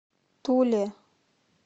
туле